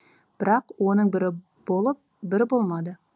бірақ оның бірі болып бірі болмады